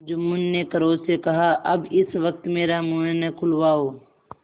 जुम्मन ने क्रोध से कहाअब इस वक्त मेरा मुँह न खुलवाओ